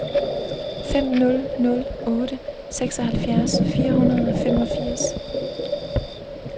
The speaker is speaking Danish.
fem nul nul otte seksoghalvfjerds fire hundrede og femogfirs